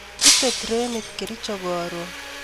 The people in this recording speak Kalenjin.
Ite trenit Kericho karon